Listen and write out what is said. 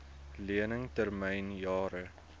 lening termyn jare